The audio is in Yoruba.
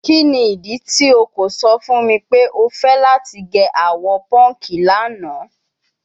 Kini idi ti o ko sọ fun mi pe o fẹ lati ge awọ pọnki lana?